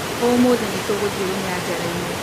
ũmũthĩ nĩtũgũthiĩ rũnyajara-inĩ